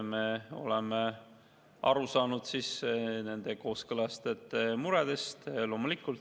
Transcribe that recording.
Me oleme aru saanud nende kooskõlastajate muredest.